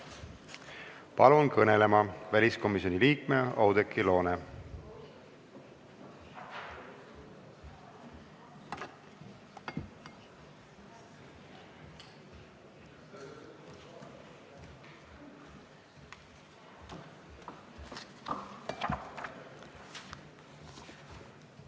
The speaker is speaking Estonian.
Palun kõnelema väliskomisjoni liikme Oudekki Loone!